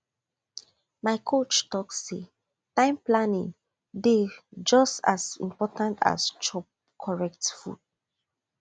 my coach talk say time planning dey just as important as chop correct food